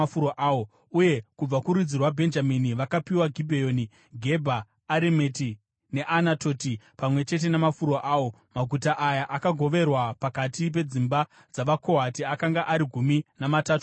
Uye kubva kurudzi rwaBhenjamini vakapiwa Gibheoni, Gebha Aremeti neAnatoti pamwe chete namafuro awo. Maguta aya, akagoverwa pakati pedzimba dzavaKohati akanga ari gumi namatatu pamwe chete.